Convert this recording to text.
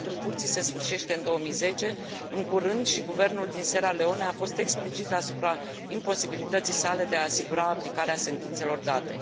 Mandatul Curții se sfârșește în 2010, în curând și guvernul din Sierra Leone a fost explicit asupra imposibilității sale de a asigura aplicarea sentințelor date.